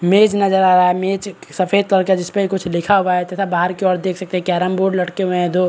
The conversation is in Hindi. मेज़ नजर आ रहा है मेज़ सफ़ेद कर के जिस पर कुछ लिखा हुआ है तथा बाहर की ओर देख सकते हैं कैरम बोर्ड लटके हुए है दो।